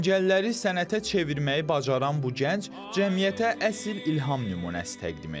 Əngəlləri sənətə çevirməyi bacaran bu gənc cəmiyyətə əsl ilham nümunəsi təqdim edir.